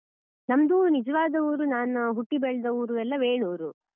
ಹ ನಮ್ದು ನಿಜವಾದ ಊರು ನಾನು ಹುಟ್ಟಿ ಬೆಳ್ದ ಊರು ಎಲ್ಲ ವೇಣೂರು.